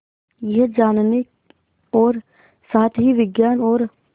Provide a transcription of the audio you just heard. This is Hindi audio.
यह जानने और साथ ही विज्ञान और